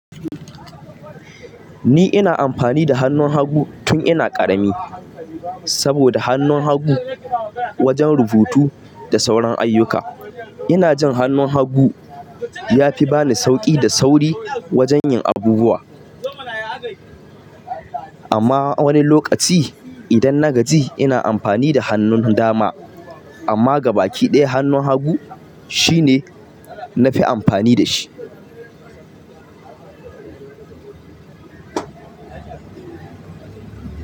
Ni ina amfani da hannun hagu tun ina ƙarami saboda hannun hagu wajen rubutu da sauran ayyuka. Ina jin hannun hagu ya fi bani sauƙi da sauri wajen yin abubuwa. Amma wani lokaci idan na gaji ina amfani da hannun dama. Amma gabaki ɗaya hannun hagu shine na fi amfani da shi.